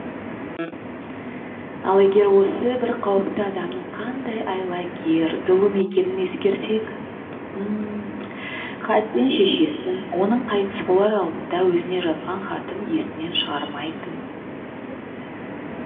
ал егер осы бір қауіпті адамның қандай айлакер зұлым екенін ескерсек хасен шешесін оның қайтыс болар алдында өзіне жазған хатын есінен шығармайтын